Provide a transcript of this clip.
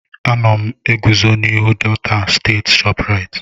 Ana m eguzo n'ihu Delta state Shoprite.